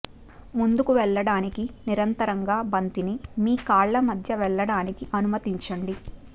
ముందుకు వెళ్లడానికి నిరంతరంగా బంతిని మీ కాళ్ళ మధ్య వెళ్ళడానికి అనుమతించండి